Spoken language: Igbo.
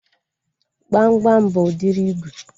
Gbamgbam bụ udiri ígwè